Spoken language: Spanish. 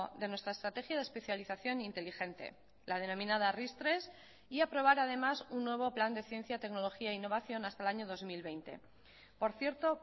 de nuestra estrategia de especialización inteligente la denominada ris tres y aprobar además un nuevo plan de ciencia tecnología e innovación hasta el año dos mil veinte por cierto